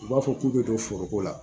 U b'a fɔ k'u bɛ don foroko la